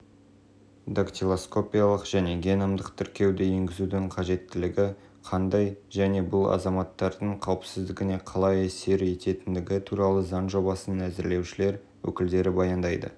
дактилоскопиялық және геномдық тіркеуді енгізудің қажеттілігі қандай және бұл азаматтардың қауіпсіздігіне қалай әсер ететіндігі туралы заң жобасын әзірлеушілер өкілдері баяндайды